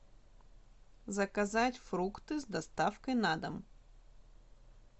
заказать фрукты с доставкой на дом